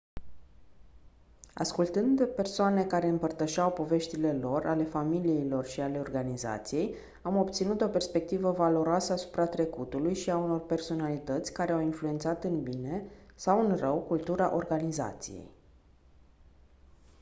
ascultând persoane care împărtășeau poveștile lor ale familiilor și ale organizației am obținut o perspectivă valoroasă asupra trecutului și a unor personalități care au influențat în bine sau în rău cultura organizației